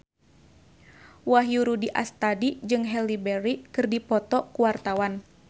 Wahyu Rudi Astadi jeung Halle Berry keur dipoto ku wartawan